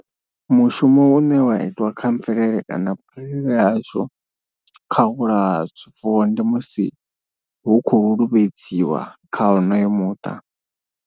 Mushumo une wa itiwa kha mvelele kana vhurereli hashu kha u vhulaya zwifuwo ndi musi hu khou luvhedzeliwa kha honoyo muṱa.